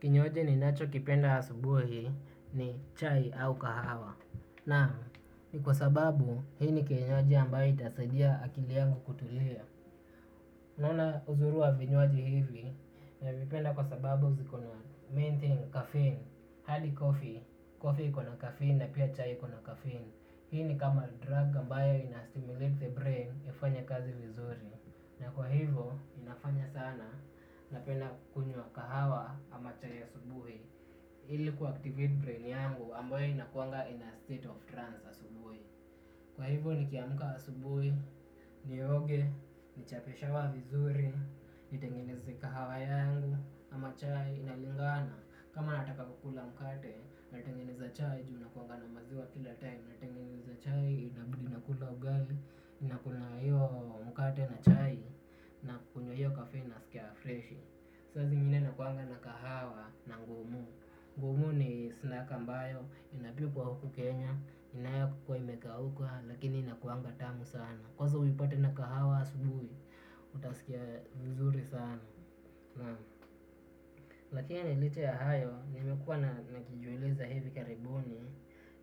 Kinywaji ninachokipenda ya asubuhi ni chai au kahawa. Na ni kwa sababu hii ni kinywaji ambayo itasadia akili yangu kutulia naona uzuri wa vinywaji hivi navipenda kwa sababu zikona main thing, caffeine. Hadi coffee, coffee ikona caffeine na pia chai ikona caffeine. Hii ni kama drug ambayo inastimulate the brain ifanye kazi vizuri. Na kwa hivyo inafanya sana napenda kunywa kahawa ama chai asubuhi. Hili kuaktivate brain yangu ambayo inakuanga in a state of trance asubuhi. Kwa hivyo nikiamka asubuhi, nioge, nichape shawa vizuri, nitengenezi kahawa yangu ama chai inalingana. Kama nataka kukula mkate natengenezi chai juu nakuwanga na maziwa kila time na tengeneza chai, inabidi nakula ugali, ninakula na hiyo mkate na chai, na kunywa hiyo kafeini, nasikiya freshi. Saa zingine nakuwanga na kahawa na ngumu. Ngumu ni snaki ambayo, inapikwa huku Kenya, inayokuwa imekauka, lakini inakuwanga tamu sana. Kwaza uipate na kahawa asubuhi, utasikia vizuri sana. Lakini licha hayo, nimekuwa na, nikijiuliza hivi karibuni,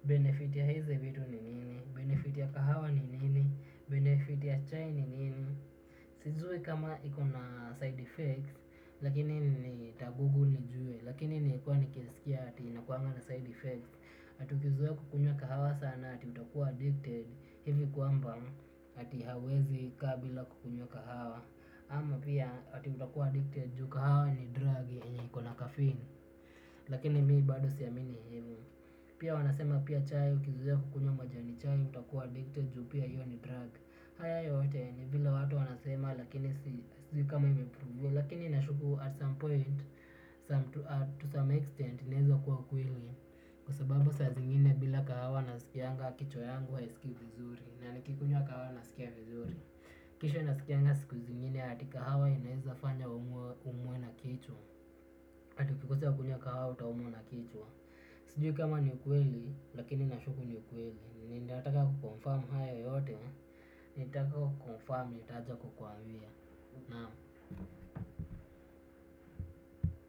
benefit ya hizi vitu ni nini? Benefit ya kahawa ni nini? Benefit ya chai ni nini? Sijui kama iko na side effects, lakini ni taguguli nijue. Lakini nili kuwa nikisikia ati inakuwanga na side effects ati ukizoe kukunywa kahawa sana ati utakuwa addicted hivi kwamba ati hauwezi kaa bila kukunywa kahawa ama pia ati utakuwa addicted juu kahawa ni drugi yenye iko na caffeine. Lakini mi bado siamini hivo. Pia wanasema pia chai ukizoea kukunywa majani chai utakuwa addicted juu pia hiyo ni drug. Haya yote ni vile watu wanasema lakini si, sijui kama imeproviwa. Lakini nashuku at some point to some extent inaeza kuwa ukweli. Kwasababu saa zingine bila kahawa nasikianga kichwa yangu haisikii vizuri. Na nikikunywa kahawa nasikia vizuri. Kisha nasikianga siku zingine hadi kahawa inaeza fanya umwe na kichwa. Ati ukikosa kunywa kahawa utaumwa na kichwa, sijui kama ni ukweli lakini nashuku ni ukweli ninataka kuconfirm hayo yote nikitoka kukuniconfirm nitaja kukwambia.